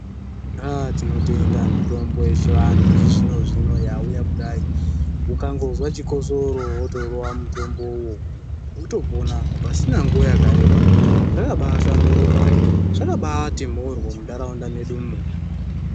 Haaa tinotenda mitombo yechivantu yechizvino zvino yauya kudai ukangozwa chikosoro wotorova mutombowo wotopona pasina nguwa yakareba zvakahlamburuka zvakabati mhoryo mundaraunda medumwo.